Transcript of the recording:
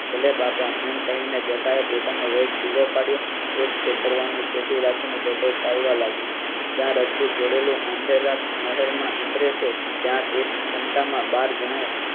બાપા એમ કહી ને જટાએ પોતાનો ધીરો પડ્યો. એક ખેતરનું છેટું રાખી ને જટો ચાલવા લાગ્યો જયાં રજપૂત જોડેલું આંધ્રા નહેર માં ઉતરે છે ત્યાં તે ક્ષમતા માં બાર જણાએ